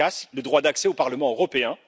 Farkas le droit d'accès au Parlement européen.